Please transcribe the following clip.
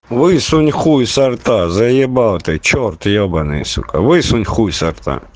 высунь хуй со рта заебал ты чёрт ёбанный сука высунь хуй со рта